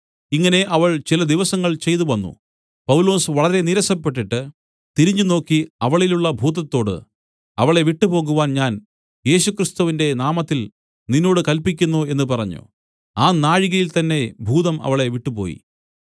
ഇങ്ങനെ അവൾ ചില ദിവസങ്ങൾ ചെയ്തുവന്നു പൗലൊസ് വളരെ നീരസപ്പെട്ടിട്ട് തിരിഞ്ഞുനോക്കി അവളിലുള്ള ഭൂതത്തോട് അവളെ വിട്ടുപോകുവാൻ ഞാൻ യേശുക്രിസ്തുവിന്റെ നാമത്തിൽ നിന്നോട് കല്പിക്കുന്നു എന്നു പറഞ്ഞു ആ നാഴികയിൽ തന്നേ ഭൂതം അവളെ വിട്ടുപോയി